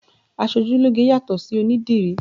Aṣojúlógé yàtọ̀ sí onídìrí